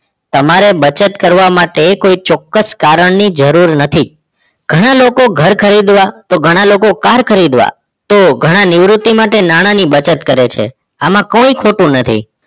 તમારે બચત કરવા માટે કોઈ ચોક્કસ કારણ ની જરૂર નથી ઘણા લોકો ઘર ખરીદવા તો ઘણા લોકો કાર ખરીદવા તો ઘણા નિવૃત્તિ માટે નાણાંની બચત કરે છે આમાં કોઈ ખોટું નથી